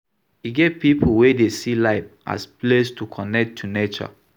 E get pipo wey dey see life as place to connect to nature